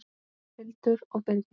Hildur og Birgir.